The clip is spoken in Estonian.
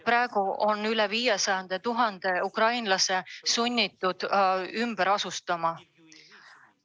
Praegu on üle 500 000 ukrainlase sunniviisiliselt ümber asustatud.